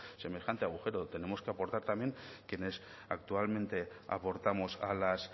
semejante agujero tenemos que aportar también quienes actualmente aportamos a las